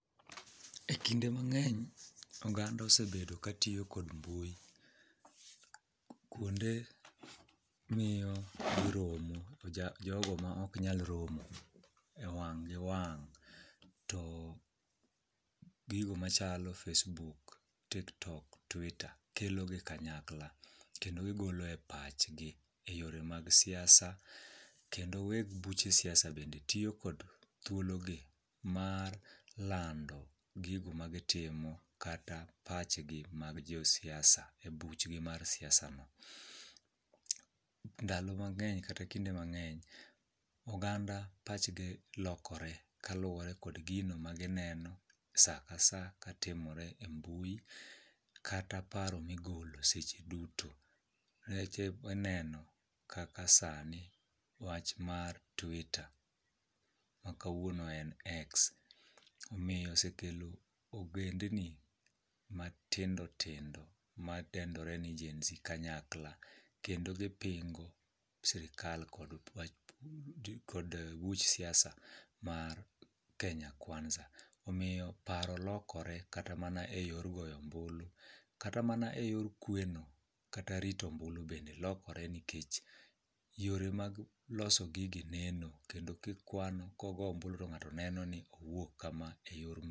E kinde mang'eny oganda osebedo katiyo kod mbui kuonde miyo giromo jogo maok nyal romo e wang' gi wang' to gigo machalo facebook, tiktok, twitter kelogi kanyakla kendo gigolo e pachgi e yore mag siasa kendo weg buche siasa bende tiyo kod thuologi mar lando gigo magitimo kata pachgi mag josiasa e buchgi mar siasano. Ndalo mang'eny kata kinde mang'eny oganda pachgi lokore kaluwore kod gino magineno sa ka sa katimore e mbui kata paro migolo seche duto nikeche ineno kaka sani wach mar twitter ma kawuono en X omiyo osekelo ogendni matindotindo madendore ni genZ kanyakla kendo gipingo sirikal kod buch siasa mar Kenya kwanza. Omiyo paro lokore kata mana e yor goyo ombulu kata mana e yor kweno kata rito ombulu bende lokore nikech yore mag loso gigi neno kendo kikwano kogo ombulu to ng'ato neno ni owuok kama e yor mbui.